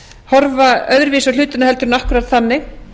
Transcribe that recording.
horfa öðruvísi á hlutina heldur en akkúrat þannig